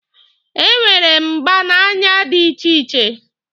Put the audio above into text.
E nwere mgba n'anya dị iche iche.